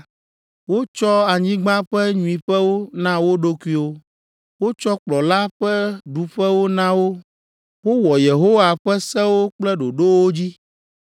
Wotsɔ anyigba ƒe nyuiƒewo na wo ɖokuiwo; wotsɔ kplɔla ƒe ɖuƒewo na wo. Wowɔ Yehowa ƒe sewo kple ɖoɖowo dzi.”